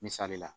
Misali la